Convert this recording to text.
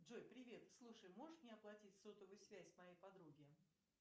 джой привет слушай можешь мне оплатить сотовую связь моей подруги